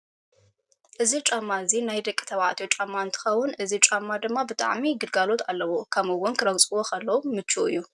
እዚ ጫማ እዚ ናይ ደቂ ተባዕትዮ ጫማ እንትከውን እዚ ጫማ ድማ ብጣዕሚ ግልጋሎት ኣለዎ። ከምኡ እውን ንክረግፅዎ ከለዉ ምችው እዩ።